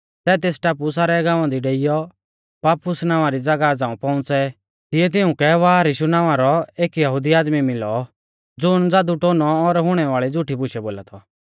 सै तेस टापु सारै गाँवा दी डेइयौ पाफुस नावां री ज़ागाह झ़ांऊ पौउंच़ै तिऐ तिउंकै बारयीशु नावां रौ एक यहुदी आदमी मिलौ ज़ुण ज़ादुटोनौ और हुणै वाल़ी झ़ुठी बुशै बोला थौ